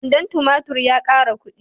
Kwandon tumatur ya ƙara kuɗi.